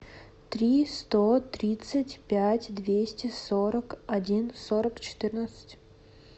три сто тридцать пять двести сорок один сорок четырнадцать